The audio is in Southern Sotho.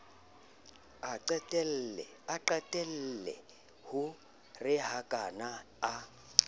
a qalelle ho rohakana a